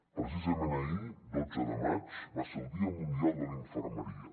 precisament ahir dotze de maig va ser el dia mundial de la infermeria